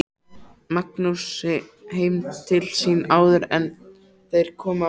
Magnúsi heim til sín áður en þeir komu aftur.